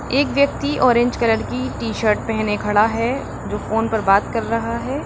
एक व्यक्ति orange colour की टीशर्ट पहने खड़ा है जो फोन पर बात कर रहा है।